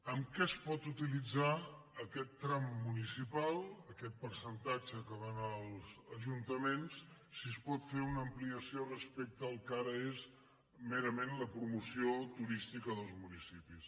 en què es pot utilitzar aquest tram mu·nicipal aquest percentatge que va als ajuntaments si es pot fer una ampliació respecte al que ara és mera·ment la promoció turística dels municipis